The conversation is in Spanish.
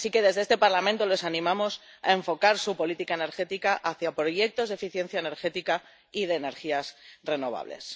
Así que, desde este Parlamento les animamos a enfocar su política energética hacia proyectos de eficiencia energética y de energías renovables.